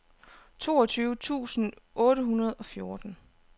toogtyve tusind otte hundrede og fjorten